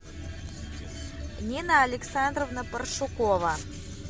нина александровна паршукова